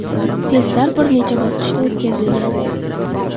Testlar bir necha bosqichda o‘tkazilgan.